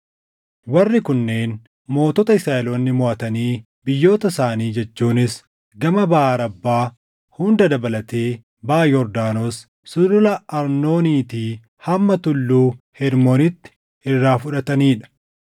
Warri Kunneen mootota Israaʼeloonni moʼatanii biyyoota isaanii jechuunis gama baʼa Arabbaa hunda dabalatee, baʼa Yordaanos, Sulula Arnooniitii hamma Tulluu Hermoonitti irraa fudhatanii dha: